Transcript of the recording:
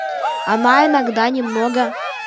она иногда немного